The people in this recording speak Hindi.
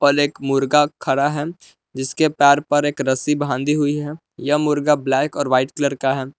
एक मुर्गा खड़ा है जिसके पैर पर एक रस्सों बांधी हुई है। यह मुर्गा ब्लैक और व्हाइट कलर का है।